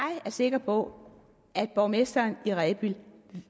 er sikker på at borgmesteren i rebild